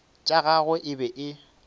tša gagwe e be e